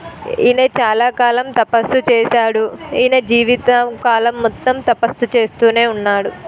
ఈనే చాలా కాలం తపస్సు చేసాడు ఈయన జీవితం కాలం మొత్తం తపస్సు చేస్తూనే ఉన్నాడు.